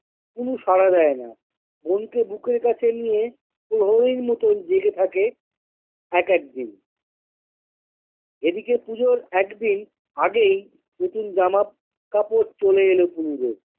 পুলু সাড়া দেয়না বোনকে বুকের কাছে নিয়ে প্রহরীর মতন জেগে থাকে এক একদিন এদিকে পুজোর একদিন আগেই নতুন জামা কাপড় চলে এলো পুলুদের।